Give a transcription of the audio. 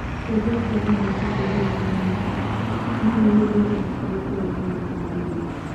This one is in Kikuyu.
Kĩũria kĩa BBC swahili kiumia gĩkĩ: Nũũ ũrĩ igweta makĩria bũrũri-inĩ wa Tanzania